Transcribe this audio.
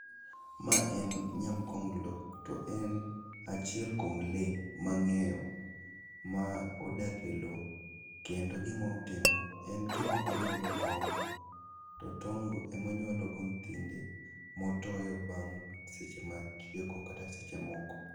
Ma en nyam konglo, to en achiel kuom lee mang'eyo ma odak e lo, kendo gimotimo, en gimonyuolo tong' to tong'go emo nyuologo nyithinde motoyo bang' seche machieko kata seche moko.